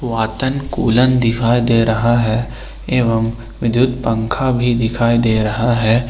वातन कूलन दिखाई दे रहा है एवं विद्युत पंखा भी दिखाई दे रहा है।